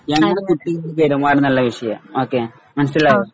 പെരുമാറണമെന്നുള്ള വിഷയാ ഓക്കേ മനസ്സിലായോ?